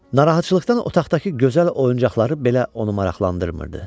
Narahatçılıqdan otaqdakı gözəl oyuncaqları belə onu maraqlandırmırdı.